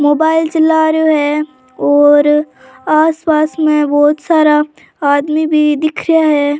Mobile चला रियो है और आस पास में बहुत सारा आदमी भी दिख रिया है।